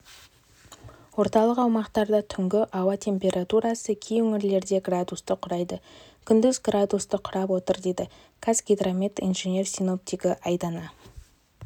орталық аумақтарда түнгі ауа температурасы кей өңірлерде градусты құрайды күндіз градусты құрап отыр дейді қазгидромет инженер-синоптигіайдана